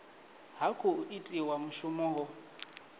ha khou itiwa mushumo ho